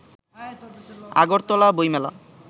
আগরতলা বইমেলা